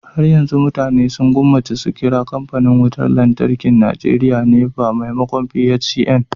har yanzu mutane sun gwammace su kira kamfanin wutar lantarkin Najeriya NEPA maimakon PHCN